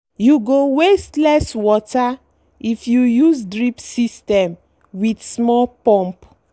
you go waste less water if you use drip system with small pump.